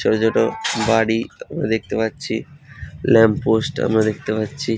ছোট ছোট বাড়ি আমরা দেখতে পাচ্ছি ল্যাম্প পোস্ট আমরা দেখতে পাচ্ছি।